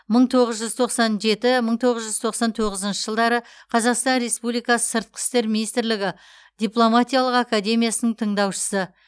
мың тоғыз жүз тоқсан жеті мың тоғыз жүз тоқсан тоғызыншы жылдары қазақстан республикасы сыртқы істер министрлігі дипломатиялық академиясының тыңдаушысы